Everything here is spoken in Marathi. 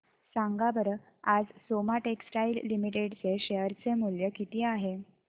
सांगा बरं आज सोमा टेक्सटाइल लिमिटेड चे शेअर चे मूल्य किती आहे